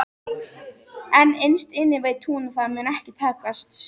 En innst inni veit hún að það mun ekki takast.